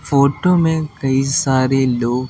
photo में कई सारे लोग--